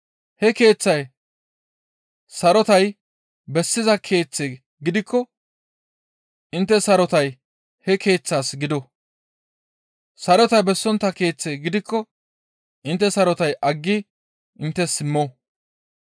He keeththay sarotay bessiza keeththe gidikko intte sarotay he keeththaas gido; sarotay bessontta keeththe gidikko intte sarotay aggi inttes simmo.